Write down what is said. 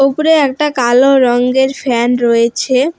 উপরে একটা কালো রঙ্গের ফ্যান রয়েছে।